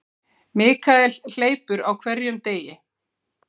Michael hleypur á hverjum degi.